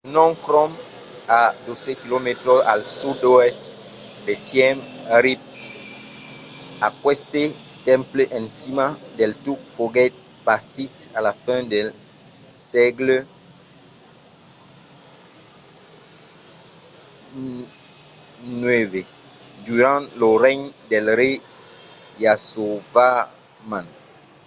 phnom krom a 12 km al sud-oèst de siemp reap. aqueste temple en cima del tuc foguèt bastit a la fin del sègle ix durant lo regne del rei yasovarman